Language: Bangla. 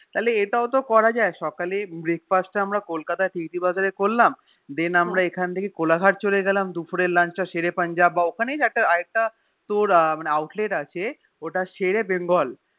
তাহলে এটাও তো করা যায় সে সকালে Breakfast তা টেরিরি বাজার এ করলাম Then আমরা এখন থেকে কোলাঘাট চলে গেলাম দুপুরের Lunch তা সেরে পাঞ্জাব বা ওখানেই কোনো একটা তোর Outlet আছে ওটা সেরে Bengal